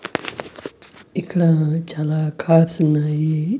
ఇక్కడా చాలా కార్స్ ఉన్నాయి.